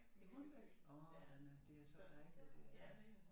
I Hornbæk åh den er det er så dejligt dér ja